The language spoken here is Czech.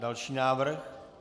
Další návrh.